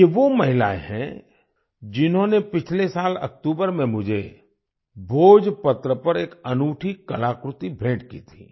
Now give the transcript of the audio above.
ये वो महिलाएं हैं जिन्होंने पिछले साल अक्टूबर में मुझे भोजपत्र पर एक अनूठी कलाकृति भेंट की थी